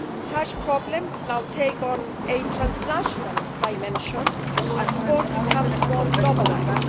Such problems now take on a transnational dimension as sport becomes more globalised.